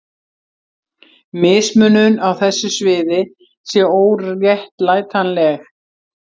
mismunun á þessu sviði sé óréttlætanleg